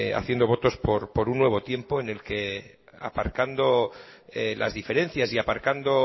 haciendo votos por un nuevo tiempo en el que aparcando las diferencias y aparcando